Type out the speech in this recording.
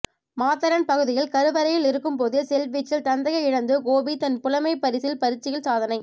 மாத்தளன் பகுதியில் கருவறையில் இருக்கும்போதே செல்வீச்சில் தந்தையை இழந்து கோபிதன் புலமைப்பரிசில் பரீட்சையில் சாதனை